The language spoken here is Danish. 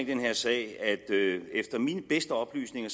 den her sag at efter mine bedste oplysninger